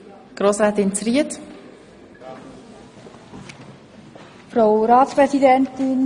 – Frau Grossrätin Zryd wünscht das Wort.